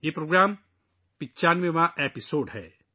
یہ پروگرام کا 95واں ایپیسوڈ ہے